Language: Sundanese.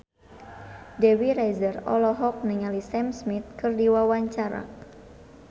Dewi Rezer olohok ningali Sam Smith keur diwawancara